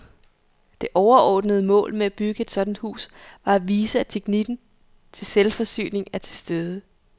Det overordnede mål med at bygge et sådant hus var at vise, at teknikken til selvforsyning er til stede.